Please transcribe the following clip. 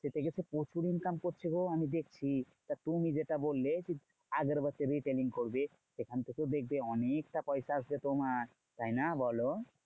এতে কিন্তু প্রচুর income করছে গো আমি দেখছি। তা তুমি যেটা বললে আগরবাতি retailing করবে। সেখান থেকে দেখবে অনেকটা পয়সা আসবে তোমার। তাইনা বোলো?